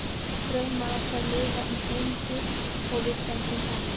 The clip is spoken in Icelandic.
Draumar okkar lifa eins lengi og við stöndum saman.